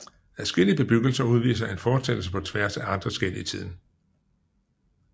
Adskillige bebyggelser udviser en fortsættelse på tværs af andre skel i tiden